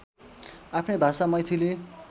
आफ्नै भाषा मैथिली